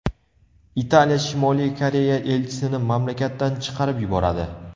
Italiya Shimoliy Koreya elchisini mamlakatdan chiqarib yuboradi.